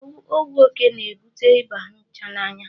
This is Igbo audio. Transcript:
Ọwụ oke na-ebute Ịba nchanaya.